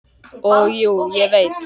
Og jú, ég veit.